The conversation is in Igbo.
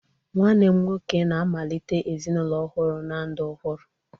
Nwanne m nwoke na-amalite ezinụlọ ọhụrụ na ndụ ọhụrụ